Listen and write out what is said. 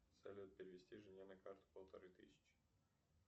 салют перевести жене на карту полторы тысячи